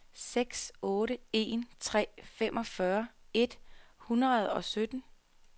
seks otte en tre femogfyrre et hundrede og sytten